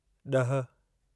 ॾह